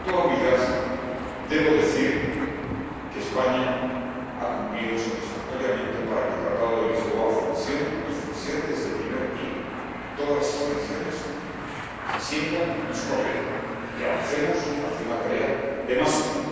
con esa misma humildad, debo decir que España ha cumplido satisfactoriamente para que el Tratado de Lisboa funcione, y funcione desde el primer día, para que todas las instituciones se sientan en su papel y avancemos hacia una tarea de más Unión.